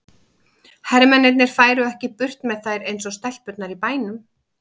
Hermennirnir færu ekki burt með þær eins og stelpurnar í bænum.